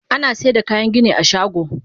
Anasaida kayan gini a shago.